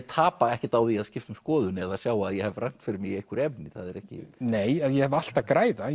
tapa ekkert á að skipta um skoðun eða sjá að ég hef rangt fyrir mér í einhverju efni nei ég hef allt að græða